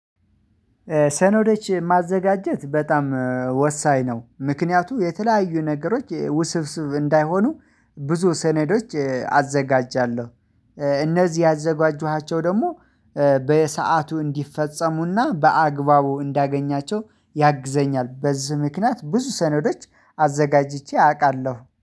ሰነዶች ማዘጋጀት በጣም ወሳኝ ነው። ምክንያቱ የተለያዩ ነገሮች ውስብስብ እንዳይሆኑ ብዙ ሰኔዶች አዘጋጃለሁ። እነዚህ ያዘጋጁሃቸው ደግሞ በሰአቱ እንዲፈጸሙና በአግባቡ እንዳገኛቸው ያግዘኛል። በዚህ ምክንያት ብዙ ሰነዶች አዘጋጅቼ አውቃለሁ